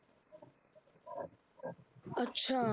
ਅੱਛਾ